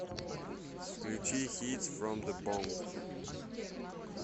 включи хитс фром зэ бонг